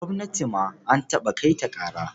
Gwamnati ma an taɓa kai ta ƙara.